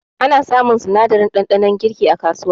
Ana samun sinadarin ɗanɗanon girki a kasuwa